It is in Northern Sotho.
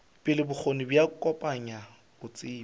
pele bokgoni bja kopanya botsebi